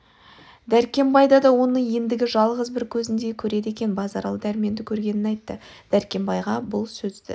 дәркембай да оны ендігі жалғыз бір көзіндей көреді екен базаралы дәрменді көргенін айтты дәркембайға бұл сөзді